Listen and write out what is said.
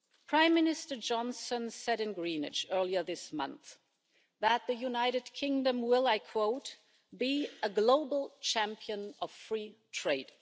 Prime Minister Johnson said in Greenwich earlier this month that the United Kingdom will, I quote, be a global champion of free trade'.